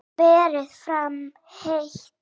Berið fram heitt.